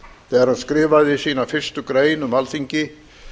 þegar hann skrifaði sína fyrstu grein um alþingi